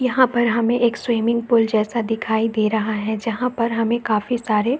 यहाँ पर हमें एक स्विमिंग पूल जैसा दिखाई दे रहा है जहाँ पर हमें काफी सारे --